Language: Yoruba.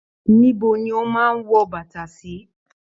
Níbo ni o máa n wọ bàtà sí?